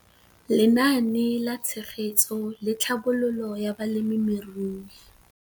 Lenaane la Tshegetso le Tlhabololo ya Balemirui